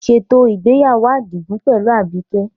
Ṣètò ìgbéyàwó Adigun pẹ̀lú Abike.